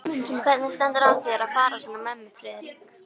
Hvernig stendur á þér að fara svona með mig, Friðrik?